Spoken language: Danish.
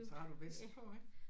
Så har du vest på ikke